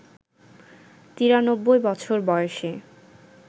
৯৩ বছর বয়সে